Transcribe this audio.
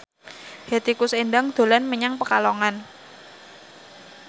Hetty Koes Endang dolan menyang Pekalongan